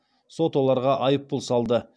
сот оларға айыппұл салды